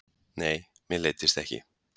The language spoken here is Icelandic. Nei, mér leiddist ekki.